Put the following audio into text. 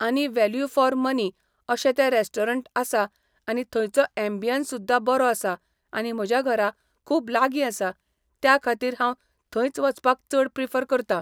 आनी value for money अशें तें रेस्टोरंट आसा आनी थंयचो एम्बियंस सुद्दां बरो आसा आनी म्हज्या घरा खूब लागीं आसा त्या खातीर हांव थंयच वचपाक चड प्रिफर करता.